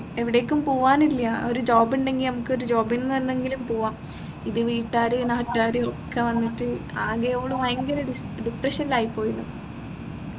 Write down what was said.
എവിടേക്കും പോകാനില്ല ഒരു job ഉണ്ടെങ്കിൽ നമ്മുക്കൊരു job എന്ന് പറഞ്ഞെങ്കിലും പോവാം ഇത് വീട്ട്കാർ നാട്ടാർ ഒക്കെ വന്നിട്ട് ആക്കെ ഓൾ ഭയങ്കര ഡിസ് depression ൽ ആയിപോയെന്നു